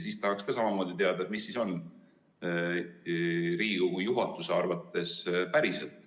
Tahaks samamoodi teada, mis siis on Riigikogu juhatuse arvates päriselt.